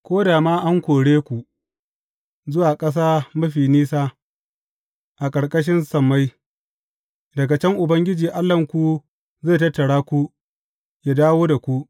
Ko da ma an kore ku zuwa ƙasa mafi nisa a ƙarƙashin sammai, daga can Ubangiji Allahnku zai tattara ku, yă dawo da ku.